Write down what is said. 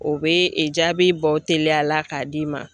O bɛ e jaabi bɔ teliya la k'a d'i ma.